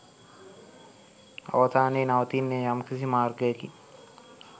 අවසානයේ නවතින්නේ යම්කිසි මාර්ගයකින්